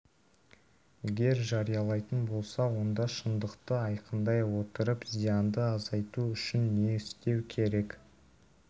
егер жариялайтын болса онда шындықты айқындай отырып зиянды азайту үшін не істеу керек